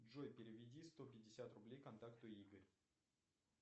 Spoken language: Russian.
джой переведи сто пятьдесят рублей контакту игорь